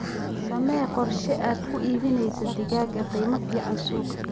Samee qorshe aad ku iibinayso digaaga qiimo fiican suuqa.